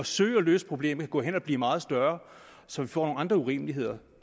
søge at løse problemet kan gå hen og blive meget større så vi får andre urimeligheder